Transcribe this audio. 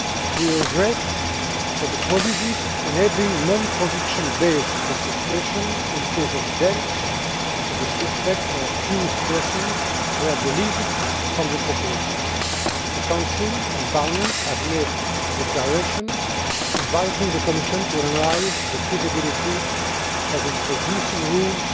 We regret that the provisions enabling non conviction based confiscation in case of the death of the suspect or accused person were deleted from the proposal. The Council and Parliament have made a declaration inviting the Commission to analyse the feasibility of introducing rules